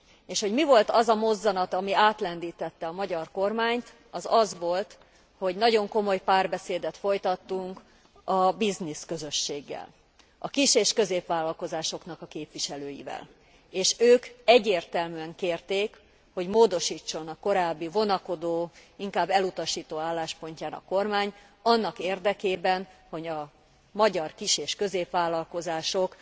És hogy mi volt az a mozzanat, ami átlendítette a magyar kormányt, az az volt, hogy nagyon komoly párbeszédet folytattunk a business közösséggel, a kis és középvállalkozásoknak a képviselőivel, és ők egyértelműen kérték, hogy módosítson a korábbi vonakodó, inkább elutasító álláspontján a kormány annak érdekében, hogy a magyar kis és középvállalkozások